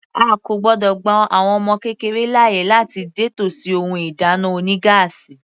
A kò gbọ́dọ̀ gba àwọn ọmọ kékeré láàyè láti dé tòsí ohun ìdáná oní gáásì.